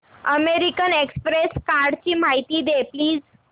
American Express कार्डची माहिती दे प्लीज